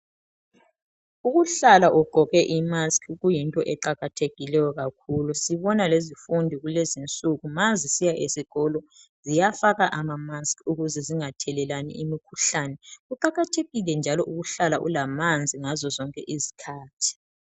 Ukuhlala ugqoke i"mask" kuyinto eqakathekileyo sibili sibona lezifundi kulezinsuku mazisiya ezikolo ziyafaka ama "mask" ukuze zingathelelani imikhuhlane. Kuqakathekile njalo ukuhlala ulamanzi ngazo zonke izikhathi.